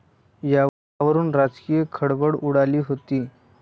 यावरून राजकीय खळबळ उडाली होती.